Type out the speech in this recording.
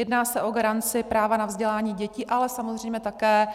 Jedná se o garanci práva na vzdělání dětí, ale samozřejmě také